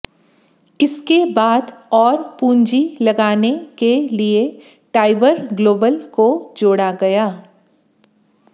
इसके बाद और पूंजी लगाने के लिए टाइबर ग्लोबल को जोड़ा गया